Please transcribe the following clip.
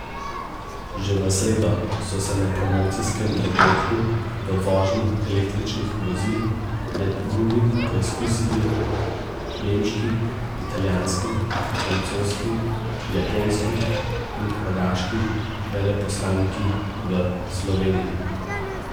Že v sredo so se na promocijskem dogodku v vožnji električnih vozil med drugim preizkusili nemški, italijanski, francoski, japonski in hrvaški veleposlaniki v Sloveniji.